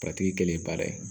kɛlen ye baara ye